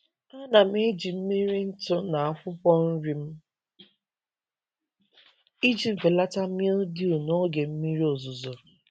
Ana m eji mmiri ntụ na akwụkwọ nri m iji belata mildew n’oge mmiri ozuzo.